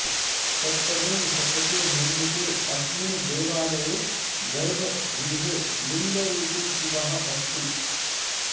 सप्तमे शतके निर्मिते अस्मिन् देवालये गर्भगृहे लिङ्गरुपी शिवः अस्ति